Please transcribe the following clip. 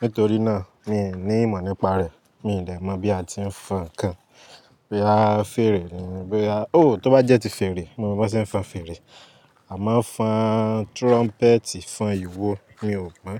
Nítorí náà mi ò ní ìmọ̀ nípa rẹ̀. Mi ò lè mọ̀ bí a ti ń fọn ǹkan. Bóya fẹ́rẹ̀, bóya-- o tó bá jẹ́ ti fẹ́rẹ̀, mo mọ bí wón ṣe ń fọn fẹ́rẹ̀. A máa ń fọn trumpet fún ìwo, mi ò mọ̀